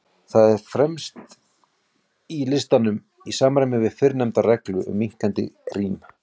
Það er fremst í listanum, í samræmi við fyrrnefnda reglu um minnkandi rím.